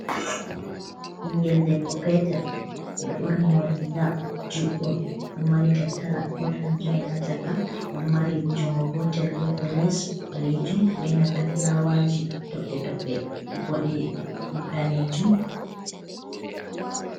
Bingel debbo petel e ɗo borni mo riga juɗɗum, ɗo mari tattara kot an join haa shaka, ɗo mari junngo gotel, geefe les ɓaleejum be nanta fulawaji, toɓɓe toɓɓe boɗe daneejum.